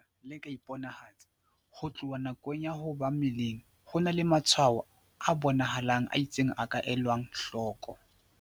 O re ka ha lefu lena le ka iponahatsa ho tloha nakong ya ho ba mmeleng, ho na le matshwaho a bona halang a itseng a ka elwang hloko."